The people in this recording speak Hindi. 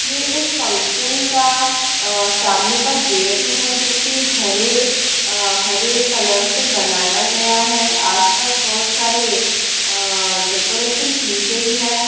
ये एक फंक्शन का अ सामने का गेट है जो की हरे अ हरे कलर से बनाया गया है आस-पास बहुत सारे अ डेकोरेशन की गई है।